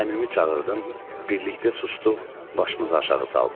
Əmimi çağırdım, birlikdə susduq, başımızı aşağı saldıq.